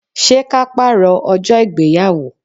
Ṣé ka paro ọjọ́ ìgbéyàwó?